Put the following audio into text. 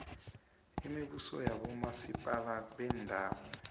imibuso yabomaziphathe beendawo